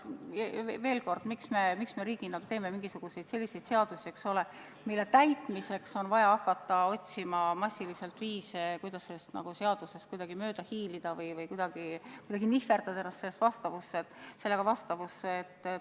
Veel kord: miks me riigina teeme selliseid seadusi, mille puhul on vaja hakata massiliselt otsima viise, kuidas nendest kuidagi mööda hiilida või kuidagi nihverdada ennast nendega vastavusse?